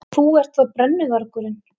Svo þú ert þá brennuvargurinn.